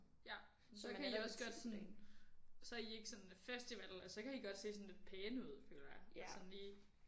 Ja så kan I også godt sådan så er I ikke sådan festival altså så kan I godt se sådan lidt pæne ud føler jeg sådan lige